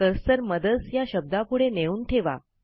cursor mothers या शब्दापुढे नेऊन ठेवा